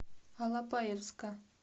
алапаевска